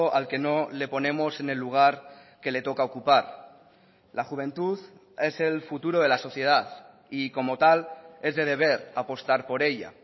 al que no le ponemos en el lugar que le toca ocupar la juventud es el futuro de la sociedad y como tal es de deber apostar por ella